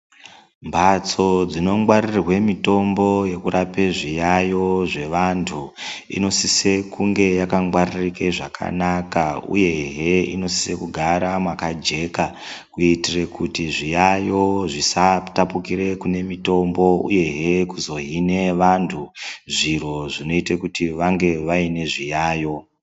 Mbatso dzinongwaririrwe mitombo yokurape zviyayo zvevantu, inosise kunge yakangwaririke zvakanaka uyehe inosise kugara makajeka, kuitite kuti zviyayo zvisatapukire kune mitombo uyehe kuzohine vantu, zviro zvinoite kuti vange vane zviyayo.